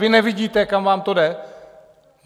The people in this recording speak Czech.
Vy nevidíte, kam vám to jde?